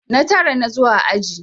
Na tara na zo a aji.